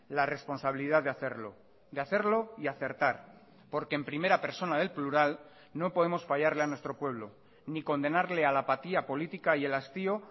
la responsabilidad de hacerlo de hacerlo y acertar porque en primera persona del plural no podemos fallarle a nuestro pueblo ni condenarle a la apatía política y el hastío